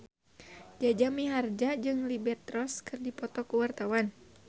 Jaja Mihardja jeung Liberty Ross keur dipoto ku wartawan